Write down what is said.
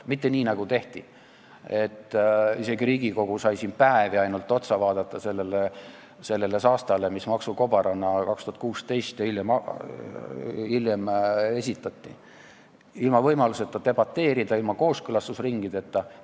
Mitte nii, nagu tehti, et isegi Riigikogu sai ainult päevi vaadata seda saasta, mis maksukobarana 2016 ja hiljem esitati, ilma võimaluseta debateerida, ilma kooskõlastusringideta.